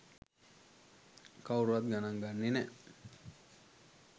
කවුරුත් ගණන් ගන්නේ නෑ